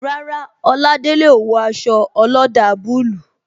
Rárá, Oladele o wo aṣọ ọlọ́dà bulu